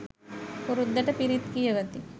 පුරුද්දට පිරිත් කියවති.